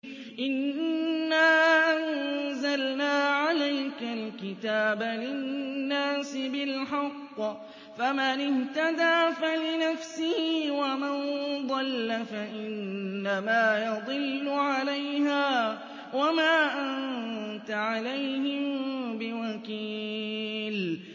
إِنَّا أَنزَلْنَا عَلَيْكَ الْكِتَابَ لِلنَّاسِ بِالْحَقِّ ۖ فَمَنِ اهْتَدَىٰ فَلِنَفْسِهِ ۖ وَمَن ضَلَّ فَإِنَّمَا يَضِلُّ عَلَيْهَا ۖ وَمَا أَنتَ عَلَيْهِم بِوَكِيلٍ